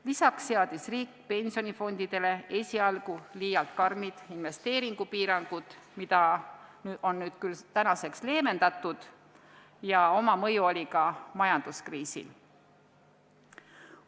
Lisaks seadis riik pensionifondidele esialgu liialt karmid investeerimispiirangud, mida tänaseks on küll leevendatud, ning oma mõju oli ka majanduskriisil.